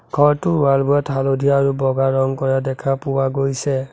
ঘৰটোৰ ৱাল বোৰত হালধীয়া আৰু বগা ৰং কৰা দেখা পোৱা গৈছে।